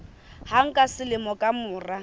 hang ka selemo ka mora